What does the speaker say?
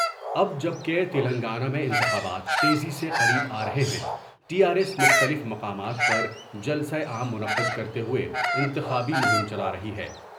اب جب کہ تلنگانہ میں انتخابات تیزی سے قریب آ رہے ہیں ٹی آرایس مختلف مقامات پر جلسہ عام منعقد کرتے ہوۓ انتخابی مہم چلا رہی ہے ۔